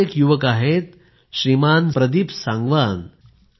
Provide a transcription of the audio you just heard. असेच एक युवक आहेत श्रीमान प्रदीप सांगवान